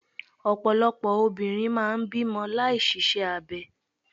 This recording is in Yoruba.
Ọ̀pọ̀lọpọ̀ obìnrin máà ń bímọ láì ṣiṣẹ́ abẹ.